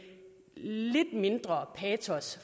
lidt mindre patos